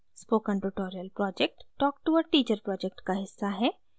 spoken tutorial project talk to a teacher project का हिस्सा है